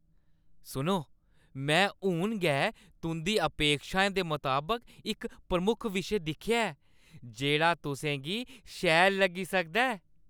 सुनो, में हून गै तुंʼदी अपेक्षाएं दे मताबक इक प्रमुख विशे दिक्खेआ ऐ जेह्ड़ा तुसेंगी शैल लग्गी सकदा ऐ।